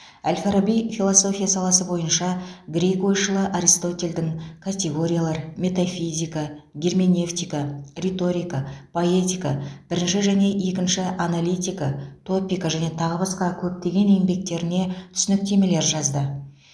әл фараби философия саласы бойынша грек ойшылы аристотельдің категориялар метафизика герменевтика риторика поэтика бірінші және екінші аналитика топика және тағы басқа көптеген еңбектеріне түсініктемелер жазды